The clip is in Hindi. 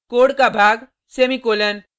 कोड का भाग सेमीकॉलन